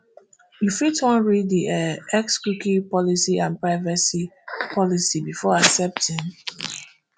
you fit wan read di um xcookie policyandprivacy policybefore accepting